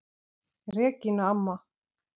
Regína amma.